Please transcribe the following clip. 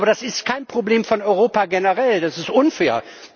Aber das ist kein Problem von Europa generell das ist unfair.